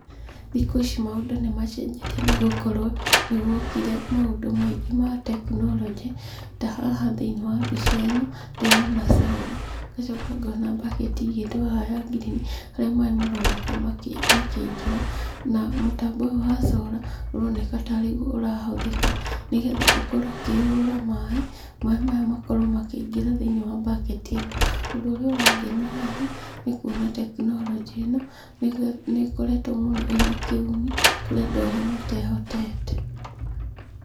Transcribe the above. Thikũ ici maũndũ nĩ macenjetie nĩ gũkorwo nĩ gwokire maũndũ maingĩ ma tekinoronjĩ, ta haha thĩinĩ wa mbica ĩno, ndĩrona solar, ngacoka ngona baketi ĩigĩtwo haha ya ngirini, harĩa maĩ maroneka makĩingĩra, na mũtambo ũyũ wa solar ũroneka tarĩguo ũrahũthĩka, nĩgetha ũkorwo ũkĩhũra maĩ, maĩ maya makorwo makĩingĩra thĩinĩ wa baketi ĩno. Ũndũ ũrĩa ũrangenia haha nĩ kuona tekinoronjĩ ĩno nĩ ĩkoretwo mũno ĩna kĩguni kũrĩ andũ arĩa matehotete.